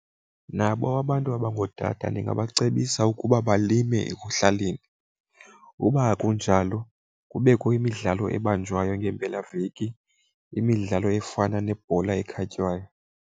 Nabo abantu abangootata ndingabacebisa ukuba balime ekuhlaleni. Uba akunjalo kubekho imidlalo ebanjwayo ngeempelaveki, imidlalo efana nebhola ekhatywayo.